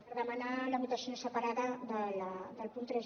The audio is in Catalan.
per demanar la votació separada del punt tres